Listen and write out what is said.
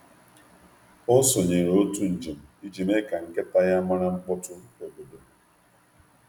Ọ sonyere òtù njem iji mee ka nkịta ya mara mkpọtụ obodo.